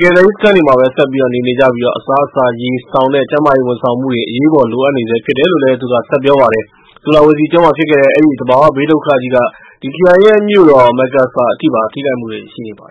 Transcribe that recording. ကယ်ဆယ်ရေးစခန်းမှာပဲ ဆက်ပြီးတော့ နေနေကြပြီး၊ အစားအစာ၊ ရေ၊ စောင် နဲ့ ကျန်းမာရေးဝန်ဆောင်မှုတွေ အရေးပေါ်လိုအပ်နေဆဲဖြစ်တယ်လို့ သူက ဆက်ပြောပါတယ်။ ဆူလာဝေစီကျွန်းမှာ ဖြစ်ခဲ့တဲ့ အဲဒီ သဘာဝဘေးဒုက္ခကြီးက အဲဒီခရိုင်ရဲ့ မြို့တော် Makassar အထိပါ ထိခိုက်မှုတွေရှိခဲ့ပါတ